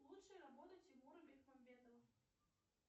лучшие работы тимура бекмамбетова